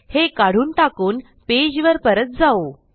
हे काढून टाकून पेजवर परत जाऊ